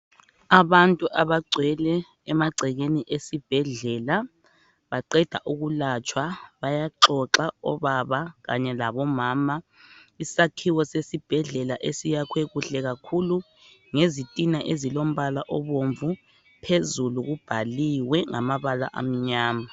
Abantu abagcwele emagcekeni esibhedlela baqeda ukulatshwa bayaxoxa obaba kanye labomama isakhiwo sesibhedlela esiyakhwe kuhle kakhulu ngezitina ezilombala obomvu phezulu kubhaliwe ngamabala amnyama.